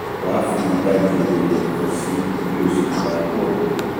wá fi ìdajì ọ̀gẹ̀dẹ̀ kan sí i kó o sì dà á pọ̀